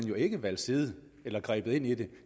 jo ikke valgt side eller grebet ind i den